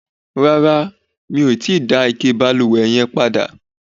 Rárá, mi o ti dá ike ìbalùwẹ̀ yẹn padà